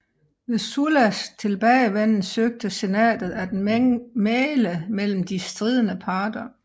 Ved Sullas tilbagevenden søgte Senatet at mægle mellem de stridende parter